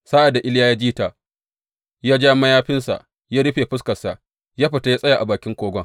Sa’ad da Iliya ya ji ta, ya ja mayafinsa ya rufe fuskarsa, ya fita ya tsaya a bakin kogon.